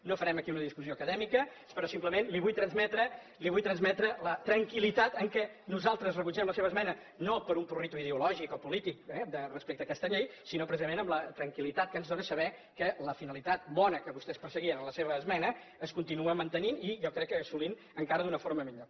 no farem aquí una discussió acadèmica però simplement li vull transmetre la tranquil·litat amb què nosaltres rebutgem la seva esmena no per un prurit ideològic o polític eh respecte a aquesta llei sinó precisament amb la tranquil·litat que ens dóna saber que la finalitat bona que vostès perseguien en la seva esmena es continua mantenint i jo crec que assolint encara d’una forma millor